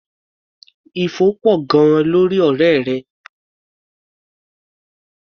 Ifo pọ̀ gan-an lórí ọ̀rẹ́ rẹ.